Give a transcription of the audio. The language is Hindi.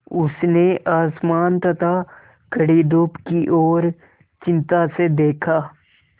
उसने आसमान तथा कड़ी धूप की ओर चिंता से देखा